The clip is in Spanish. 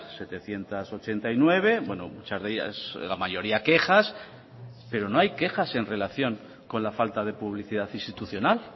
setecientos ochenta y nueve muchas de ellas la mayoría quejas pero no hay quejas en relación con la falta de publicidad institucional